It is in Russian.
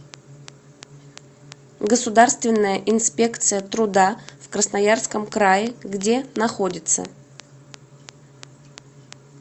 государственная инспекция труда в красноярском крае где находится